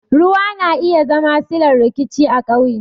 Ruwa na iya zama sillar rikici a ƙauye